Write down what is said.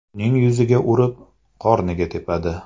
Uning yuziga urib, qorniga tepadi.